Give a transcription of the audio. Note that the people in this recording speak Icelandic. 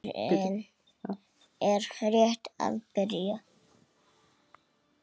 Fjörið er rétt að byrja!